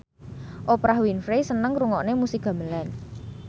Oprah Winfrey seneng ngrungokne musik gamelan